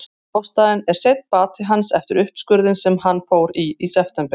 Ástæðan er seinn bati hans eftir uppskurðinn sem hann fór í í september.